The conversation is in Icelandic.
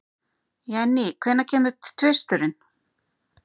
Jenny, hvenær kemur tvisturinn?